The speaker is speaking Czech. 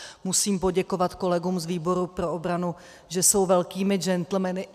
Musím poděkovat kolegům z výboru pro obranu, že jsou velkými gentlemany.